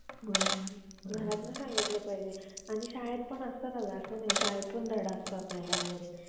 पण त्याला मूल होतो बिमार लई बिमार म्हणजे लई बिमार ती म्हणजे ती मेल्यावर ना त्याचा मूल एकटा असतो मग मुंबई मुंबईला येतो.